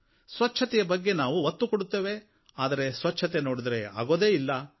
ಸ್ವಚ್ಛತೆಯ ಬಗ್ಗೆ ನಾವು ಒತ್ತು ಕೊಡುತ್ತೇವೆ ಅದರೆ ಸ್ವಚ್ಛತೆ ಆಗುವುದೇ ಇಲ್ಲ